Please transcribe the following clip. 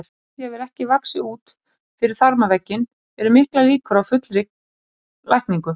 Ef æxlið hefur ekki vaxið út fyrir þarmavegginn eru miklar líkur á fullri lækningu.